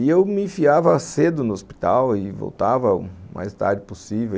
E eu me enfiava cedo no hospital e voltava o mais tarde possível.